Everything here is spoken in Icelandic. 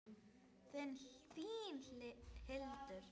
Þín, Hildur.